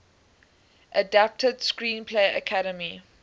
adapted screenplay academy